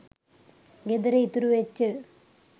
ගෙදර ඉතුරු වෙච්ච